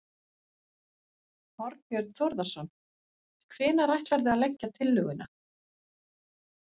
Þorbjörn Þórðarson: Hvenær ætlarðu að leggja tillöguna?